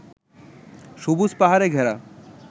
সবুজ পাহাড়ে ঘেরা